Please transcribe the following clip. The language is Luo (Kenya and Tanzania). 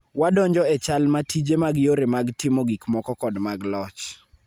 Wadonjo e chal ma tije mag yore mag timo gikmoko kod mag loch